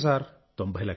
90 లక్షలు